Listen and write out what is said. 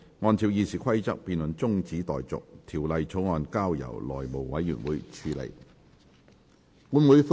按照《議事規則》，這辯論現在中止待續，條例草案則交由內務委員會處理。